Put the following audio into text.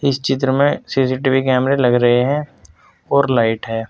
इस चित्र में सी_सी_टी_वी कैमरे लग रहे हैं और लाइट है।